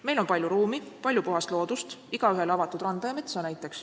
Meil on palju ruumi ja palju puhast loodust, näiteks igaühele avatud randa ja metsa.